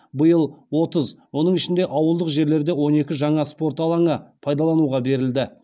биыл отыз оның ішінде ауылдық жерлерде он екі жаңа спорт алаңы пайдалануға берілді